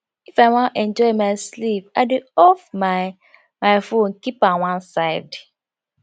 if i wan enjoy my sleep i dey off my my fone keep am one side